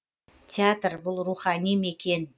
театр бұл рухани мекен